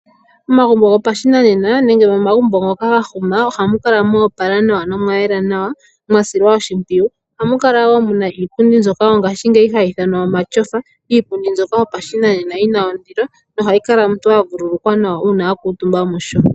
Momagumbo gopashinanena nenge momagumbo ngoka ga huma ohamukala mwa opala nawa nomwayela nawa mwa silwa oshimpiyu, ohamukala wo mu na iipundi mbyoka wo ngashiingeyi hayi ithanwa omatyofa, iipundi mbyoka yopashinanena yina ondilo nohayi kala omuntu wa vululukwa nawa uuna wa kaatumba musho.